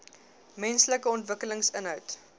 menslike ontwikkeling inhoud